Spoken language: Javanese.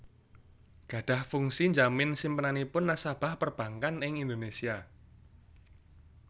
gadhah fungsi njamin simpenanipun nasabah perbankan ing Indonésia